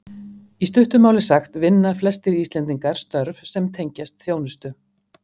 Í stuttu máli sagt vinna flestir Íslendingar störf sem tengjast þjónustu.